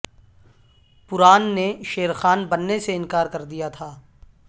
پران نے شیرخان بننے سے انکار کر دیا تھا